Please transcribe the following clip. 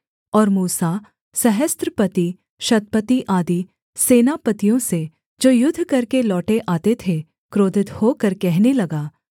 और मूसा सहस्रपतिशतपति आदि सेनापतियों से जो युद्ध करके लौटे आते थे क्रोधित होकर कहने लगा